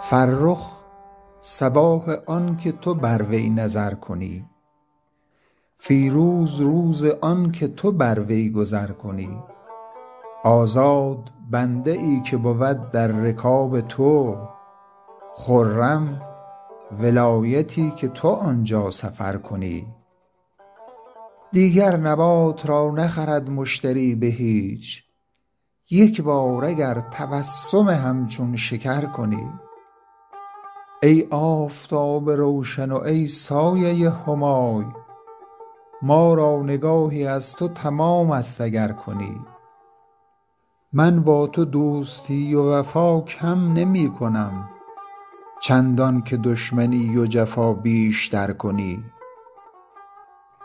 فرخ صباح آن که تو بر وی نظر کنی فیروز روز آن که تو بر وی گذر کنی آزاد بنده ای که بود در رکاب تو خرم ولایتی که تو آن جا سفر کنی دیگر نبات را نخرد مشتری به هیچ یک بار اگر تبسم همچون شکر کنی ای آفتاب روشن و ای سایه همای ما را نگاهی از تو تمام است اگر کنی من با تو دوستی و وفا کم نمی کنم چندان که دشمنی و جفا بیش تر کنی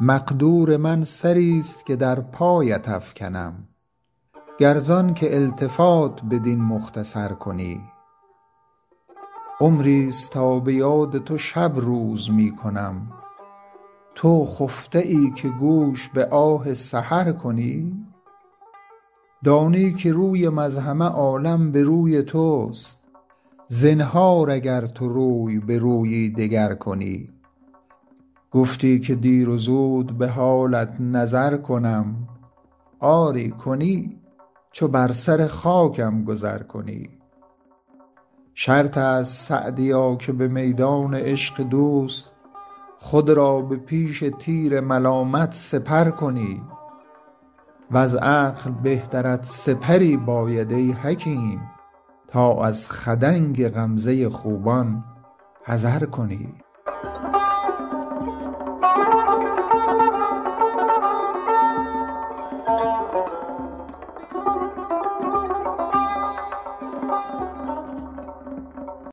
مقدور من سری ست که در پایت افکنم گر زآن که التفات بدین مختصر کنی عمری ست تا به یاد تو شب روز می کنم تو خفته ای که گوش به آه سحر کنی دانی که رویم از همه عالم به روی توست زنهار اگر تو روی به رویی دگر کنی گفتی که دیر و زود به حالت نظر کنم آری کنی چو بر سر خاکم گذر کنی شرط است سعدیا که به میدان عشق دوست خود را به پیش تیر ملامت سپر کنی وز عقل بهترت سپری باید ای حکیم تا از خدنگ غمزه خوبان حذر کنی